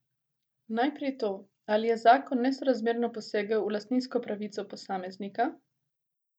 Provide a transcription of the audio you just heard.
Najprej to, ali je zakon nesorazmerno posegel v lastninsko pravico posameznika?